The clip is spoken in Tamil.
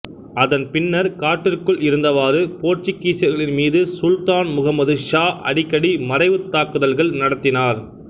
அதன் பின்னர் காட்டிற்குள் இருந்தவாறு போர்த்துகீசியர்களின் மீது சுல்தான் முகமது ஷா அடிக்கடி மறைவுத் தாக்குதல்கள் நடத்தினார்